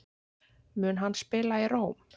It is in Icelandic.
Mun hann spila í Róm?